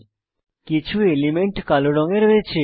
কিছু এলিমেন্ট কালো রঙে রয়েছে